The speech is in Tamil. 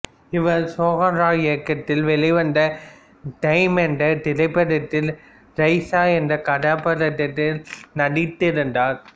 இவர் சோஹன் ராய் இயக்கத்தில் வெளிவந்த டேம் என்ற திரைப்படத்தில் ரைசா என்ற கதாப்பாத்திரத்தில் நடித்திருந்தார்